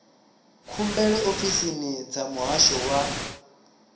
khumbelo ofisini dza muhasho wa